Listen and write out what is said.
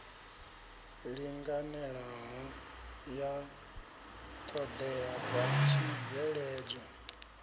linganelaho ya ṱhoḓea dza tshibveledzwa